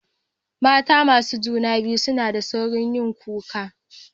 Mata masu juna biyu suna da sauri yin kuka.